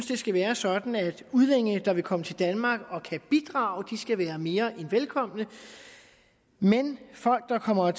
det skal være sådan at udlændinge der vil komme til danmark og kan bidrage skal være mere end velkomne men folk der kommer